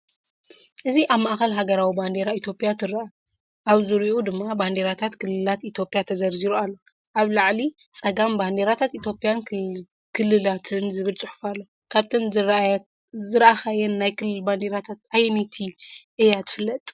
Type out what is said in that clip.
እዚ ኣብ ማእከል ሃገራዊ ባንዴራ ኢትዮጵያ ትረአ። ኣብ ዙርያኡ ድማ ባንዴራታት ክልላት ኢትዮጵያ ተዘርዚሩ ኣሎ። ኣብ ላዕሊ ጸጋም “ባንዴራታት ኢትዮጵያን ክልልትን” ዝብል ጽሑፍ ኣሎ። ካብተን ዝረኣኻየን ናይ ክልል ባንዴራታት ኣየነይቲ እያ ትፈልጣ?